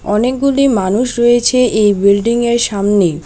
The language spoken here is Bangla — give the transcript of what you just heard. অনেকগুলি মানুষ রয়েছে এই বিল্ডিংয়ের সামনে।